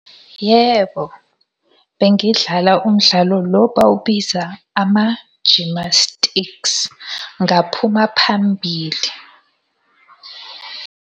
Yebo, bengidlala umdlalo lo bawubiza ama-gymnastics, ngaphuma phambili.